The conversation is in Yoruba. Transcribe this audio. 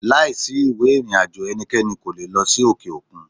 Láìsí ìwé ìrìnàjò ẹnikẹ́ni kò le è lọ sí òkè òkun.